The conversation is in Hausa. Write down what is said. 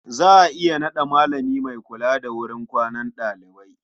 Za a iya naɗa malami mai kula da wurin kwanan ɗalibai.